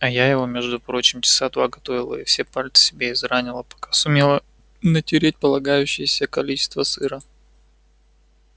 а я его между прочим часа два готовила и все пальцы себе изранила пока сумела натереть полагающееся количество сыра